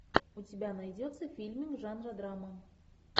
у тебя найдется фильм жанра драма